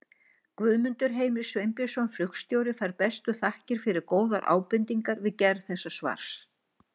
Guðmundur Heimir Sveinbjörnsson flugstjóri fær bestu þakkir fyrir góðar ábendingar við gerð þessa svars.